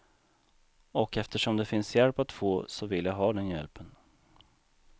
Och eftersom det finns hjälp att få, så vill jag ha den hjälpen.